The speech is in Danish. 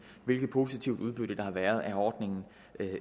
hvilket positivt udbytte der har været af ordningen